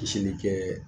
kɛ